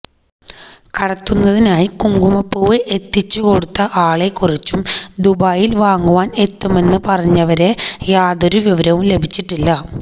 കടത്തുന്നതിനായി കുങ്കുമ പൂവ് എത്തിച്ച് കൊടുത്ത ആളെ കുറിച്ചും ദുബായില് വാങ്ങുവാന് എത്തുമെന്ന് പറഞ്ഞവരെ യാതൊരു വിവരവും ലഭിച്ചിട്ടില്ല